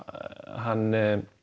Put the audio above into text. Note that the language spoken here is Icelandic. hann